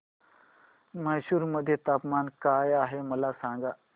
म्हैसूर मध्ये तापमान काय आहे मला सांगा